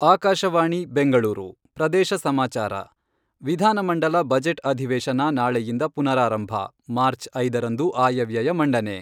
ಆಕಾಶವಾಣಿ ಬೆಂಗಳೂರು ಪ್ರದೇಶ ಸಮಾಚಾರ ವಿಧಾನಮಂಡಲ ಬಜೆಟ್ ಅಧಿವೇಶನ ನಾಳೆಯಿಂದ ಪುನಾರಾರಂಭ , ಮಾರ್ಚ್ ಐದರಂದು ಆಯವ್ಯಯ ಮಂಡನೆ.